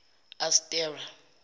astera